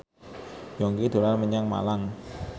Yongki dolan menyang Malang